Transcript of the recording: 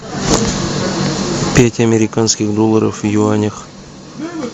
пять американских долларов в юанях